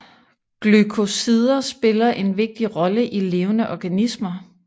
Glykosider spiller en vigtig rolle i levende organismer